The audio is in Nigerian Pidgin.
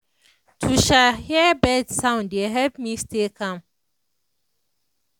to um hear bird sound dey help me stay calm.